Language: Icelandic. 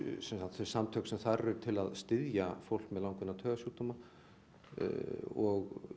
þau samtök sem þar eru til að styðja fólk með langvinna taugasjúkdóma og